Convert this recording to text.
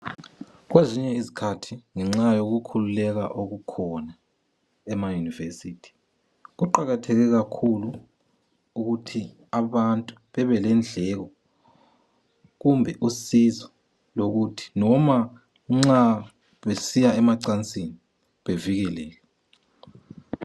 Kwezinye izikhathi ngenxa yokukhululeka okukhona emayunivesiylthi, kuqakathekile ukuthi abantu babe lendleko, kumbe usizo lokuthi loba besiya emacansini, bavikeleke.